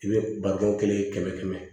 I bɛ balo kelen kɛmɛ kɛmɛ